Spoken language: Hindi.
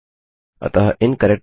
अतःIncorrect password